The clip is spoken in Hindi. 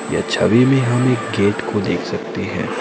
यह छवि में हम एक गेट को देख सकते हैं।